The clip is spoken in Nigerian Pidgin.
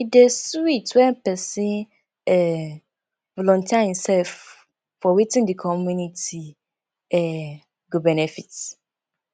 e dey sweet when pesin um volunteer himself for wetin di community um go benefit